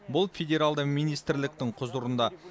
бұл федералды министрліктің құзырында